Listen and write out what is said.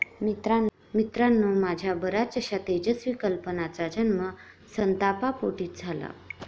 मित्रांनो, माझ्या बऱ्याचशा तेजस्वी कल्पनांचा जन्म संतापापोटीच झाला.